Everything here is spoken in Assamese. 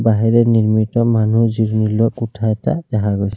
বাঁহেৰে নিৰ্মিত মানুহ জিৰণি লোৱা কোঠা এটা দেখা গৈছে।